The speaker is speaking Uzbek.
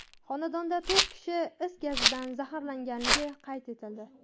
xonadonida to‘rt kishi is gazidan zaharlanganligi qayd etildi.